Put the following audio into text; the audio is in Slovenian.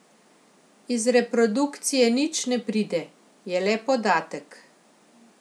Iz reprodukcije nič ne pride, je le podatek.